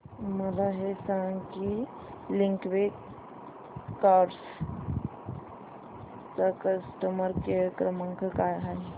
मला हे सांग की लिंकवे कार्स चा कस्टमर केअर क्रमांक काय आहे